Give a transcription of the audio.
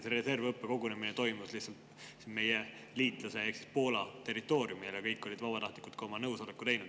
See reservõppekogunemine toimus meie liitlase Poola territooriumil ja kõik olid vabatahtlikult ka oma nõusoleku andnud.